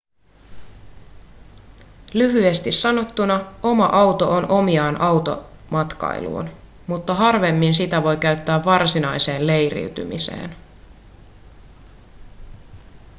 lyhyesti sanottuna oma auto on omiaan automatkailuun mutta harvemmin sitä voi käyttää varsinaiseen leiriytymiseen